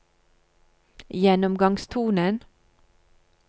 gjennomgangstonen